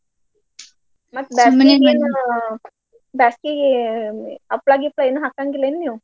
ಮತ್ ಬ್ಯಾಸಗೀಗೆ ಹಪ್ಳಾ ಗಿಪ್ಳಾ ಏನೂ ಹಾಕಂಗಿಲೇನ್ ನೀವ್.